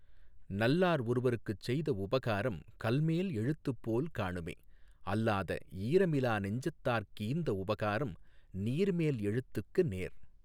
நல்லார் ஒருவர்க்குச்செய்த உபகாரம் கல்மேல் எழுத்துப்போல் காணுமே அல்லாத ஈரமிலா நெஞ்சத்தார்க் கீந்த உபகாரம் நீர்மேல் எழுத்துக்கு நேர்